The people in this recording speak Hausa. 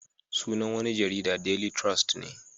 Sunan wani jarida daily trust ne